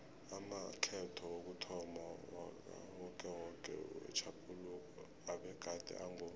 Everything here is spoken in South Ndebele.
amakhetho wokuthomma wakawokewoke wetjhaphuluko abegade ango